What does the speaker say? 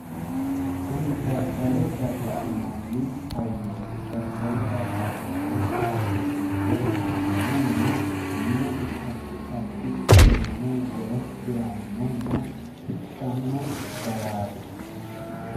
kuni dadalo dada'linanni hayyooti dadalo dada'linanni hayyo giddo mannu minesi addi uduu'ne wore hirannonna hidhanno garaati.